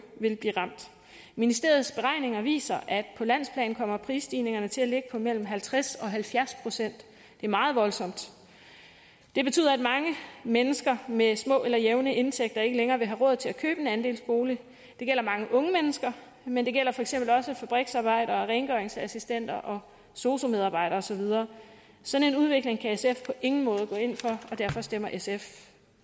vil blive ramt ministeriets beregninger viser at på landsplan kommer prisstigningerne til at ligge på mellem halvtreds og halvfjerds procent det er meget voldsomt det betyder at mange mennesker med små eller jævne indtægter ikke længere vil have råd til at købe en andelsbolig det gælder mange unge mennesker men det gælder for eksempel også fabriksarbejdere rengøringsassistenter sosu medarbejdere og så videre sådan en udvikling kan sf på ingen måde gå ind for og derfor stemmer sf